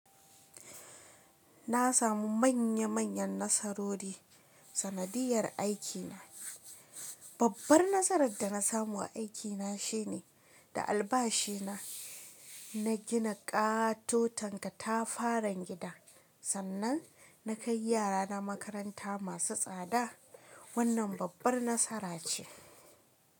Na samu manya manyan nasarori sanadiyar aikina. Babbar nasarar da na samu a aikina shine da albashi na, na gina katoton katafaran gida. Sannan na kai yarana makaranta masu tsada. Wannan babbar nasara ce.